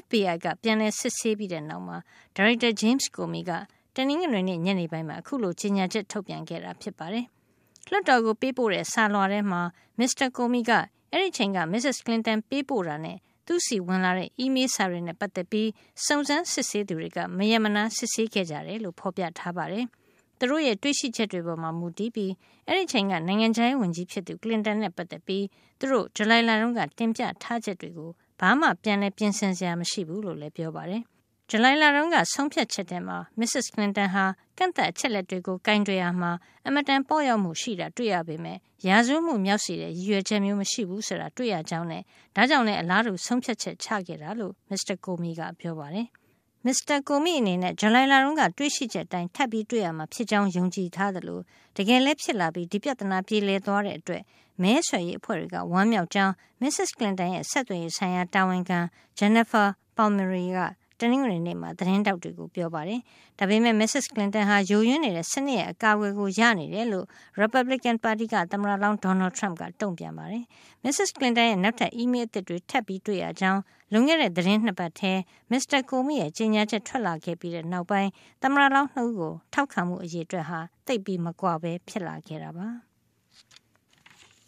FBI က ပြန်လည် စစ်ဆေးပြီး တဲ့နောက်မှာ ဒါရိုက်တာ James Comey က တနင်္ဂနွေနေ့ ညနေပိုင်းမှာ အခုလို ကြေညာချက် ထုတ်ပြန်ခဲ့တာ ဖြစ်ပါတယ်။ လွှတ်တော်ကို ပေးပို့တဲ့ စာလွှာထဲမှာ မစ္စတာ Comey က အဲဒီအချိန်က မစ္စက်ကလင်တန် ပေးပို့တာနဲ့ သူ့ဆီဝင်လာတဲ့ အီးမေးလ်စာတွေနဲ့ ပါတ်သက်ပြီး စုံစမ်းစစ်ဆေးသူတွေက မရပ်မနား စစ်ဆေးခဲ့ကြတယ်လို့ ဖေါ်ပြထားပါတယ်။ သူတို့ရဲ့ တွေ့ရှိချက်ပေါ်မှာ မူတည်ပြီး အဲဒီအချိန်က နိုင်ငံခြားရေးဝန်ကြီးဖြစ်သူ Clinton နဲ့ ပါတ်သက်ပြီး သူတို့ ဇူလိုင်လတုန်းက တင်ပြထားချက်တွေကို ဘာမှ ပြန်လည် ပြင်ဆင်စရာ မရှိဘူးလို့လည်း ပြောပါတယ်။ ဇူလိုင်လတုန်းက ဆုံးဖြတ်ချက်ထဲမှာ မစ္စက် Clinton ဟာ ကန့်သတ် အချက်အလက်တွေကို ကိုင်တွယ်ရာမှာ အင်မတန် ပေါ့လျော့မှု ရှိတာ တွေ့ရပေမယ့် ရာဇဝတ်မှု မြောက်စေတဲ့ ရည်ရွယ်ချက်မျိုး မရှိဘူးဆိုတာ တွေ့ရကြောင်းနဲ့ ဒါကြောင့်လည်း အလားတူ ဆုံးဖြတ်ချက် ချခဲ့ကြတာ ဖြစ်ကြောင်း မစ္စတာ Comey က ပြောပါတယ်။ မစ္စတာ Comey အနေနဲ့ ဇူလိုင်လတုန်းက တွေ့ရှိချက်အတိုင်းပဲ ထပ်ပြီး တွေ့ရမှာ ဖြစ်ကြောင်း ယုံကြည်ထားသလို တကယ်လည်း ဖြစ်လာပြီး ဒီပြဿနာ ပြေလည်သွားတဲ့အတွက် မဲဆွယ်ရေးအဖွဲ့တွေက ဝမ်းမြောက်ကြောင်း မစ္စက် Clinton ရဲ့ ဆက်သွယ်ရေး ဆိုင်ရာ တာဝန်ခံ Jennifer Palmieri က တနင်္ဂနွေနေ့မှာ သတင်းထောက်တွေကို ပြောပါတယ်။ ဒါပေမယ့် မစ္စက် Clinton ဟာ ယိုယွင်းနေတဲ့ စနစ်ရဲ့ အကာကွယ်ကို ရနေတယ်လို့ Republican ပါတီက သမ္မတလောင်း Donald Trump ကတုန့်ပြန်ခဲ့ပါတယ်။ မစ္စက် Clinton ရဲ့ နောက်ထပ် အီးမေးလ်အသစ်တွေ ထပ်တွေ့ရကြောင်း လွန်ခဲ့တဲ့ သီတင်း ၂ ပတ်မှာ မစ္စတာ Comey ရဲ့ ကြေညာချက် ထွက်လာခဲ့ပြီးတဲ့ နောက်မှာ သမ္မတလောင်း ၂ ဦး ကို ထောက်ခံမှု အရေအတွက် သိပ်မကွာပဲ ဖြစ်လာခဲ့တာပါ။